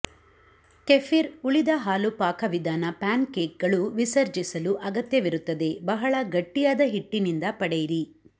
kefir ಉಳಿದ ಹಾಲು ಪಾಕವಿಧಾನ ಪ್ಯಾನ್ಕೇಕ್ಗಳು ವಿಸರ್ಜಿಸಲು ಅಗತ್ಯವಿರುತ್ತದೆ ಬಹಳ ಗಟ್ಟಿಯಾದ ಹಿಟ್ಟಿನಿಂದ ಪಡೆಯಿರಿ